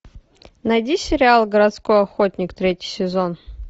найди сериал городской охотник третий сезон